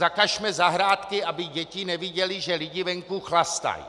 Zakažme zahrádky, aby děti neviděly, že lidi venku chlastají.